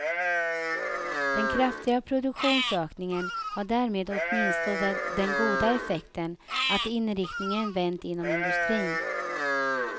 Den kraftiga produktionsökningen har därmed åtminstone den goda effekten att inriktningen vänt inom industrin.